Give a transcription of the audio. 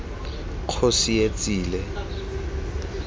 kgosietsile